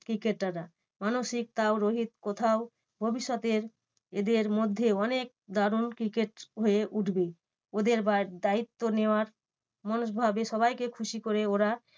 Cricketer রা মানসিক তাও রোহিত কোথাও ভবিষ্যতের এদের মধ্যে অনেক দারুন cricket হয়ে উঠবে। ওদের এবার দায়িত্ব নেওয়ার মানুষ ভাবে সবাইকে খুশি করে ওরা